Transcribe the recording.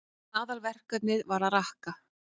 Aðalverkefnið var að rakka.